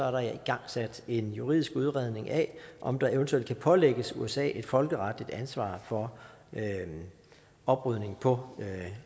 jeg igangsat en juridisk udredning af om der eventuelt kan pålægges usa et folkeretligt ansvar for oprydning på